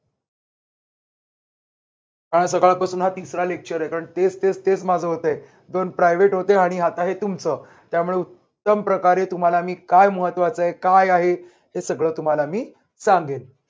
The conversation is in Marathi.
काल सकाळपासून हा तिसरा lecture आहे. कारण तेच तेच तेच माझं होतंय. दोन private होते आणि आता हे तुमचं. त्यामुळे उत्तम प्रकारे तुम्हाला मी काय महत्त्वाचा आहे काय आहे हे सगळं तुम्हाला मी सांगेन.